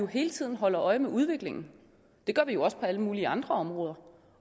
hele tiden holder øje med udviklingen det gør vi jo også på alle mulige andre områder